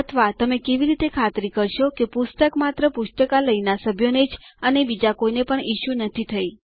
અથવા તમે કેવી રીતે ખાતરી કરશો કે પુસ્તક માત્ર પુસ્તકાલયના સભ્યોને જ અને બીજા કોઈને પણ ઇસ્યુ નથી થઇ